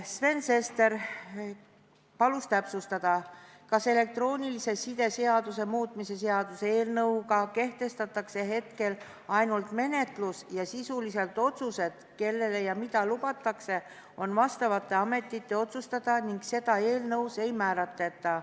Sven Sester palus täpsustada, kas elektroonilise side seaduse muutmise seaduse eelnõuga kehtestatakse hetkel ainult menetlus ning kas sisulised otsused, kellele ja mida lubatakse, on vastavate ametite otsustada ning seda eelnõus ei määratleta.